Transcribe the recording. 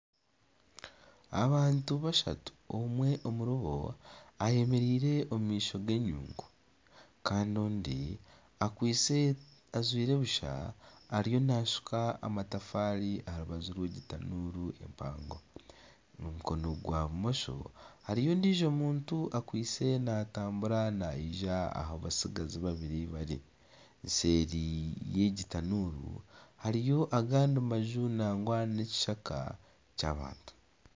Abantu bashatu omwe omuri bo ayemereire omu maisho g'enyungu. Kandi ondi akwaitse tajwaire busha ariyo naashuka amatafaari aha rubaju rw'egi tanuuru empango. Omu mukono gwa bumosho hariyo ondiijo muntu akwaitse naatambura naija aha batsigazi babiri bari. Seeri y'egi tanuuru hariyo agandi maju nangwa n'ekishaka ky'abantu.